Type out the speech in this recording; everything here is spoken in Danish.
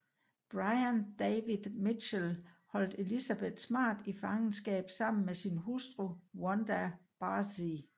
Brian David Mitchell holdt Elizabeth smart i fangeskab sammen med sin hustru Wanda Barzee